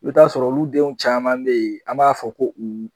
I bi taa sɔrɔ olu denw caman be yen an b'a fɔ ko u